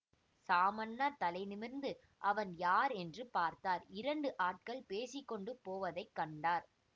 சாமண்ணா தலை நிமிர்ந்து அவன் யார் என்று பார்த்தார் இரண்டு ஆட்கள் பேசி கொண்டு போவதைக் கண்டார்